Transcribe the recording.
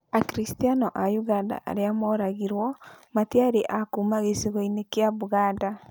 Akiristiano a ũganda arĩa moragirwo matiarĩ akuma gĩcigo-inĩ kĩa Buganda